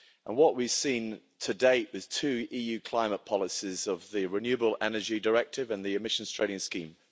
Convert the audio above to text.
What we've seen to date were the two EU climate policies of the Renewable Energy Directive and the Emissions Trading Scheme.